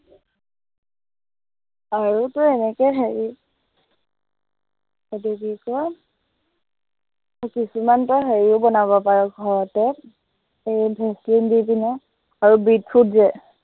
আৰু তই এনেকে হেৰিও এইটো কি কয় কিছুমান তই হেৰিও বনাব পাৰ ঘৰতে, এৰ ভেচলিন দি কিনে আৰু এই বিটৰুট যে